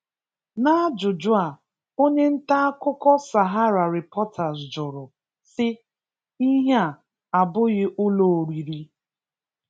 N'ajụjụ a, onye nta akụkọ SaharaReporters jụrụ, sị: 'Ihe a abụghị ụlọ oriri?'